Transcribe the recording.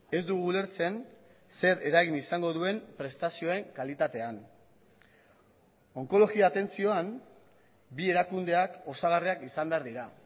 ez dugu ulertzen zer eragin izango duen prestazioen kalitatean onkologia atentzioan bi erakundeak osagarriak izan behar dira